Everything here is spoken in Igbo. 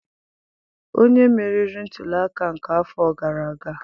Onye meriri ntuli aka nke afọ gara aga?